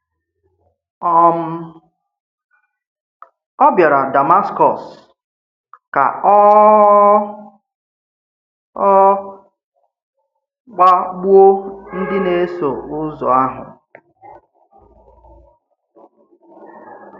um Ó bịàrà Dàmàskọ̀s ka ọ̀ ọ̀ kpagbùò ndí na-èsò uzọ̀ àhụ̀.